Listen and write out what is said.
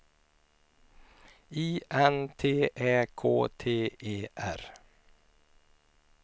I N T Ä K T E R